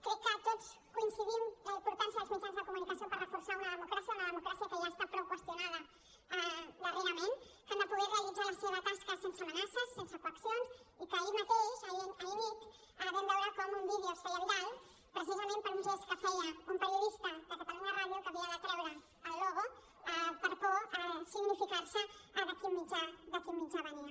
crec que tots coincidim en la importància dels mitjans de comunicació per reforçar una democràcia una democràcia que ja ha estat prou qüestionada darrerament que han de poder realitzar la seva tasca sense amenaces sense coaccions i que ahir mateix ahir nit vam veure com un vídeo es feia viral precisament per un gest que feia un periodista de catalunya ràdio que havia de treure el logo per por a significar se de quin mitjà venia